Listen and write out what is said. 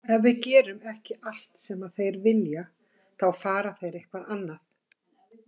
Ef við gerum ekki allt sem þeir vilji þá fari þeir eitthvað annað.